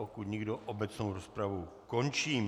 Pokud nikdo, obecnou rozpravu končím.